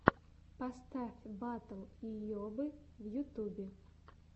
поставь батл йобы в ютубе